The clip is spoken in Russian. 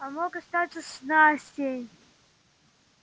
а мог остаться с настей